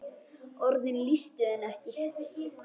Orðin lýstu henni ekki.